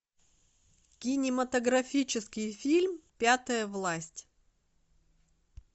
кинематографический фильм пятая власть